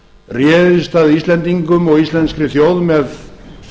réðist að íslendingum og íslenskri þjóð með